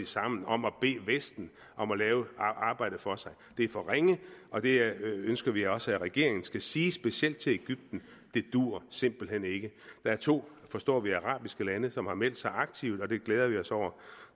sammen om at bede vesten om at lave arbejdet for sig det er for ringe og det ønsker vi også at regeringen skal sige specielt til egypten det duer simpelt hen ikke der er to forstår vi arabiske lande som har meldt sig aktivt og det glæder vi os over